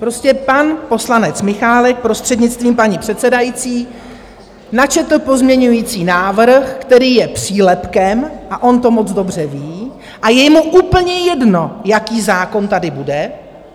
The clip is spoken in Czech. Prostě pan poslanec Michálek, prostřednictvím paní předsedající, načetl pozměňovací návrh, který je přílepkem, a on to moc dobře ví, a je mu úplně jedno, jaký zákon tady bude.